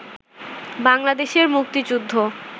বাংলাদেশের মুক্তিযুদ্ধ